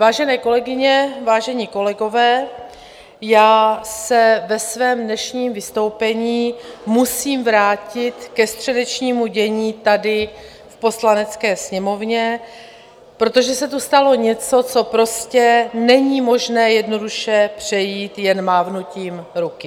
Vážené kolegyně, vážení kolegové, já se ve svém dnešním vystoupení musím vrátit ke středečnímu dění tady v Poslanecké sněmovně, protože se tu stalo něco, co prostě není možné jednoduše přejít jen mávnutím ruky.